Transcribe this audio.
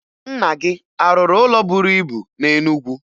Nna gị a rụrụ ụlọ buru ibu na Enugwu?